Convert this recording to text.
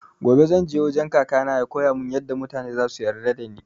Gobe zan je wajen kaka na ya koyamun yaɗa mutane zasu yarda da ni